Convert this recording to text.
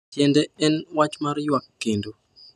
"Tiende en wach mar ywak kendo."